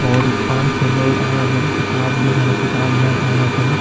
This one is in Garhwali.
और पांच छह लोग आया जन किताब देखण ल्यण आया छन ।